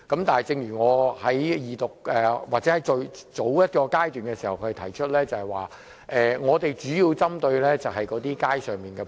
但是，正如我在二讀，甚至更早的階段提出，我們主要針對的是，街上店鋪。